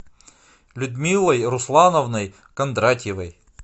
людмилой руслановной кондратьевой